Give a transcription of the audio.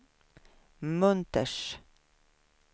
Munters